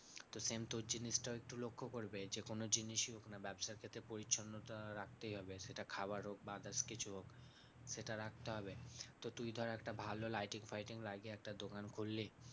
তো same তোর জিনিসটাও একটু লক্ষ্য করবে। যেকোনো জিনিসই হোক না ব্যাবসার ক্ষেত্রে পরিচ্ছন্নতা রাখতেই হবে সেটা খাবার হোক বা others কিছু হোক সেটা রাখতে হবে। তো তুই ধর একটা ভালো lighting ফাইটিং লাগিয়ে একটা দোকান করলি,